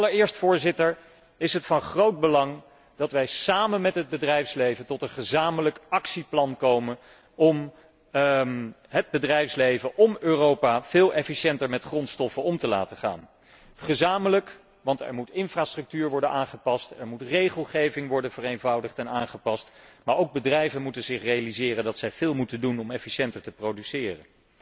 Allereerst, Voorzitter, is het van groot belang dat wij samen met het bedrijfsleven tot een gezamenlijk actieplan komen om het bedrijfsleven, om Europa veel efficiënter met grondstoffen om te laten gaan. Gezamenlijk, want er moet infrastructuur worden aangepast, er moet regelgeving worden vereenvoudigd en aangepast, maar ook bedrijven moeten zich realiseren dat zij veel moeten doen om efficiënter te produceren.